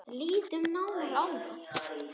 Lítum nánar á það.